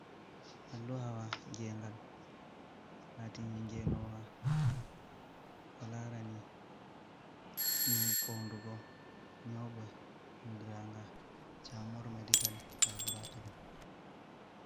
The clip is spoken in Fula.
Alluhawa geengal, laatiinga ngeenoowa ko laarani foondugo nyawɓe. Anndiraanga camor medical laboretori.